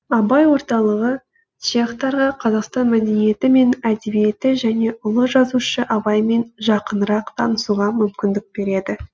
абай орталығы чехтарға қазақстан мәдениеті мен әдебиеті және ұлы жазушы абаймен жақынырақ танысуға мүмкіндік береді